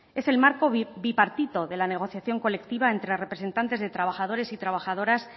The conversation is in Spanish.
es el marco bipartito de la negociación colectiva entre representantes de trabajadores y trabajadoras